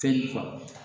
Fɛn